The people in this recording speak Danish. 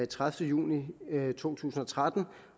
tredivete juni to tusind og tretten